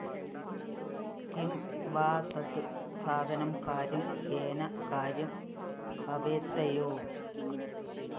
Kim വാ ടാറ്റ്‌ സാധനം കാര്യം യേന കാര്യം ഭവേത്തയോഃ